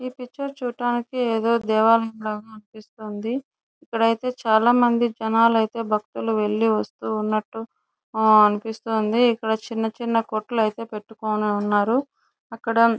ఈ పిక్చర్ చూడటానికి ఏదో దేవాలయము గ అనిపిస్తుంది ఇక్కడైతే చాల మంది జనాలు అయితే భక్తులు వెళ్లి వస్తునట్టు ఆహ్ అనిపిస్తుంది ఇక్కడ చిన్న చిన్న కోట్లు అయితే పెట్టుకొని ఉన్నారు అక్కడ --